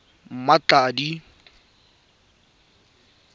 mmatladi